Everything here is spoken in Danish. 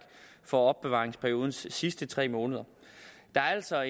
for opbevaringsperiodens sidste tre måneder der er altså